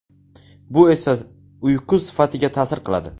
Bu esa uyqu sifatiga ta’sir qiladi.